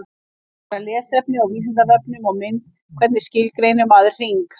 Frekara lesefni á Vísindavefnum og mynd Hvernig skilgreinir maður hring?